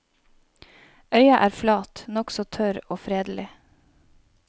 Øya er flat, nokså tørr og fredelig.